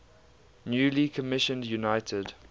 newly commissioned united